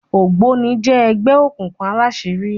ògbóni jé ẹgbẹ òkùnkùn àlàṣiri.